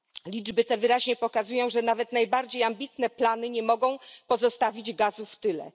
Liczby te wyraźnie pokazują, że nawet najbardziej ambitne plany nie mogą pozostawić gazu w tyle.